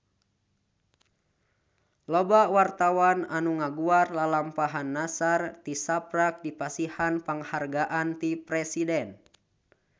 Loba wartawan anu ngaguar lalampahan Nassar tisaprak dipasihan panghargaan ti Presiden